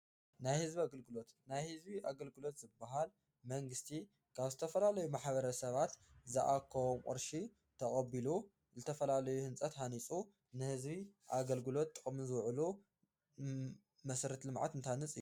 ናይ ህዝቢ ኣገልግሎት፤ ናይ ህዝቢ ኣገልግሎት ዝበሃል መንግሥቲ ካብ ዝተፈላለዩ ማሕበረ ሰባት ዝኣኮዎም ቕርሺ ተቐቢሉ ዝተፈላለዩ ሕንፀት ሓኒፁ ንሕዝቢ ኣገልግሎት ጥቅሚ ዝውዕሉ መሰረት ልመዓት እንንት ሀንፅ አዩ።